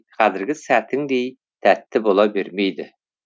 қазіргі сәтіңдей тәтті бола бермейді